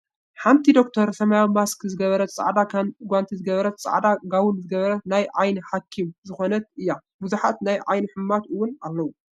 ሓንቶ ዶክተር ሰማያዊ ማስክ ዝገበረት ፃዕዳ ጎንቲ ዝገበረትን ፃዕዳ ጋውን ዝገበረትን ናይ ዓይኒ ሓክኝም ዝኮነት እያ። ብዙሓት ናይ ዓይኒ ሕሙማት እውን ኣለው።